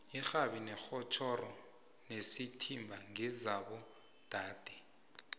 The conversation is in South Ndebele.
ixhabi itjhoshoro nesithimba ngesaba dade